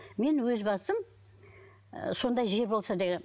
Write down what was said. мен өз басым ы сондай жер болса дегенмін